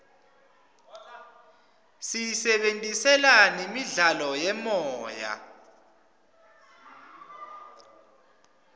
siyisebentisela nemidlalo yemoya